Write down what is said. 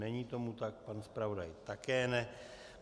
Není tomu tak, pan zpravodaj také ne.